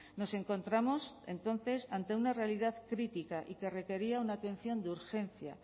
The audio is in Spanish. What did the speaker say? nos encontramos entonces ante una realidad crítica y que requería una atención de urgencia